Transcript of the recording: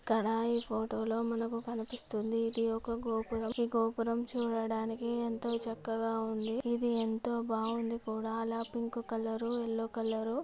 ఇక్కడా ఈ ఫోటో లో మనకు కనిపిస్తుంది. ఇది ఒక గోపురము. ఈ గోపురం చూడడానికి ఏంతో చక్కగా ఉంది. ఇది ఏంతో బాగుంది కూడా అలా పింక్ కలరు యెల్లో కలరు --